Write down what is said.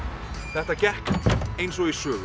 þetta gekk eins og í sögu